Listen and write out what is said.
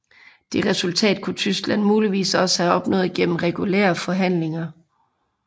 Det resultat kunne Tyskland muligvis også have opnået gennem regulære forhandlinger